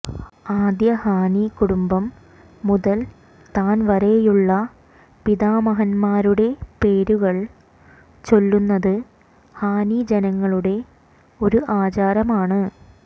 ആദ്യ ഹാനി കുടുംബം മുതൽ താൻ വരെയുള്ള പിതാമഹന്മാരുടെ പേരുകൾ ചൊല്ലുന്നത് ഹാനി ജനങ്ങളുടെ ഒരു ആചാരമാണ്